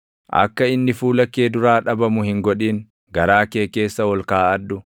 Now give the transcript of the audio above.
Akka inni fuula kee duraa dhabamu hin godhin; garaa kee keessa ol kaaʼadhu;